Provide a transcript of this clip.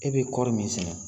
E bɛ kɔɔri min sɛnɛ